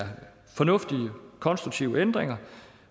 fornuftige konstruktive ændringer